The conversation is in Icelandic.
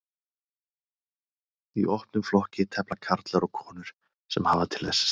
Í opnum flokki tefla karlar og konur sem hafa til þess styrk.